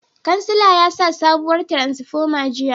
Kansila yasa sabuwar tiransifoma jiya